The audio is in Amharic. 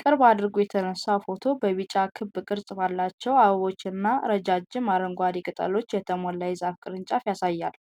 ቅርብ አድርጎ የተነሳው ፎቶ በቢጫ ክብ ቅርጽ ባላቸው አበቦችና ረዣዥም አረንጓዴ ቅጠሎች የተሞላ የዛፍ ቅርንጫፍ ያሳያል።